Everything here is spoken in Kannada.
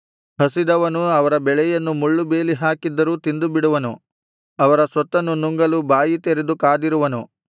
ಹಸಿದವನು ಅವರ ಬೆಳೆಯನ್ನು ಮುಳ್ಳುಬೇಲಿಹಾಕಿದ್ದರೂ ತಿಂದುಬಿಡುವನು ಅವರ ಸೊತ್ತನ್ನು ನುಂಗಲು ಬಾಯಿ ತೆರೆದು ಕಾದಿರುವರು